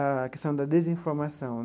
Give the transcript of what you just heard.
A questão da desinformação.